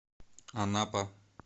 анапа